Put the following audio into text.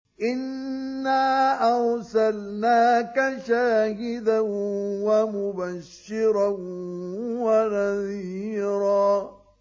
إِنَّا أَرْسَلْنَاكَ شَاهِدًا وَمُبَشِّرًا وَنَذِيرًا